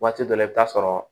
Waati dɔ la i bɛ t'a sɔrɔ